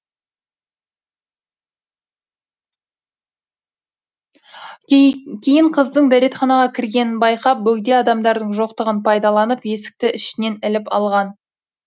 кейін қыздың дәретханаға кіргенін байқап бөгде адамдардың жоқтығын пайдаланып есікті ішінен іліп алған